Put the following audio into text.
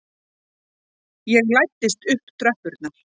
Ég læddist upp tröppurnar.